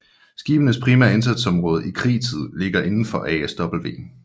Skibenes primære indsatsområde i krigtid ligger indenfor ASW